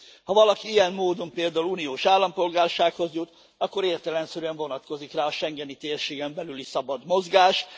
Ha valaki ilyen módon például uniós állampolgársághoz jut, akkor értelemszerűen vonatkozik rá a schengeni térségen belüli szabad mozgás.